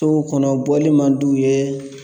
to o kɔnɔ bɔli man d'u ye.